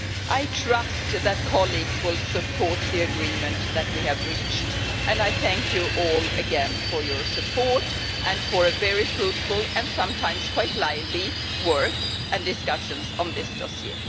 I trust that colleagues will support the agreement that we have reached and I thank you all again for your support and for very fruitful, and sometimes quite lively, work and discussions on this dossier.